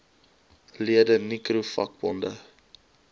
lede nicro vakbonde